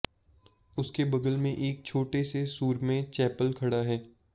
उसके बगल में एक छोटे से सुरम्य चैपल खड़ा है